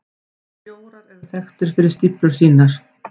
Bjórar eru þekktir fyrir stíflur sínar.